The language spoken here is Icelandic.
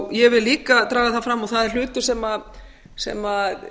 ég vil líka draga það fram og það er hlutur sem sem